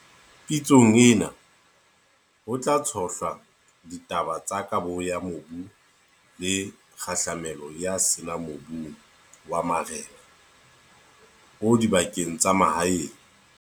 Pitsong ena, ho tla tshohlwa ditaba tsa kabo ya mobu le kgahlamelo ya sena mobung wa marena o dibakeng tsa mahaeng.